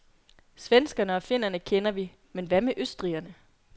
Svenskerne og finnerne kender vi, men hvad med østrigerne.